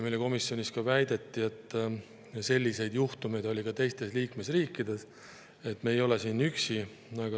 Meile komisjonis väideti, et selliseid juhtumeid oli ka teistes liikmesriikides, et me ei ole siin üksi.